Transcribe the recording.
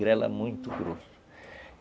Grela muito grosso.